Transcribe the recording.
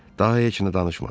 Daha heç nə danışmadı.